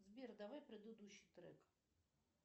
сбер давай предыдущий трек